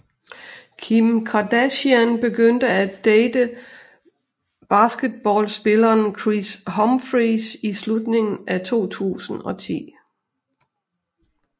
Kim Kardashian begyndte at date basketballspilleren Kris Humphries i slutningen af 2010